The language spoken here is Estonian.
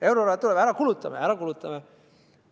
Euroraha tuleb ära kulutada ja ära kulutame.